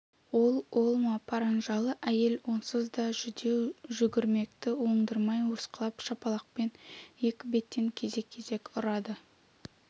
ол ол ма паранжалы әйел онсыз да жүдеу жүгірмекті оңдырмай осқылап шапалақпен екі беттен кезек-кезек ұрады